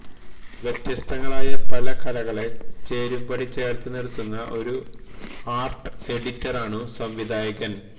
വ്യത്യസ്തങ്ങളായ പല കലകളെ ചേരുംപടി ചേര്ത്ത് നിര്ത്തുന്ന ഒരു ആര്ട്ട് എഡിറ്ററാണു സംവിധായകന്